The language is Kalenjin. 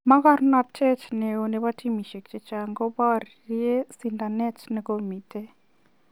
Mogornotet neo nebo timisiek chechang koboree sindanet negomiten.